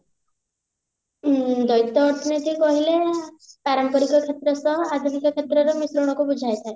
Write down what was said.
ଉଁ ଦଳିତ ଅର୍ଥନୀତି କହିଲେ ପାରମ୍ପାରିକ କ୍ଷେତ୍ର ସହ ଆଧୁନିକ କ୍ଷେତ୍ରର ମିଶ୍ରଣକୁ ବୁଝାଇଥାଏ